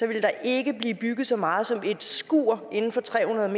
ville der ikke blive bygget så meget som et skur inden for tre hundrede